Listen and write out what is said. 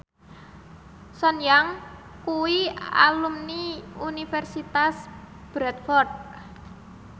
Sun Yang kuwi alumni Universitas Bradford